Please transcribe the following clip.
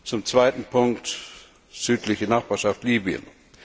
Zum zweiten Punkt südliche Nachbarschaft Libyen.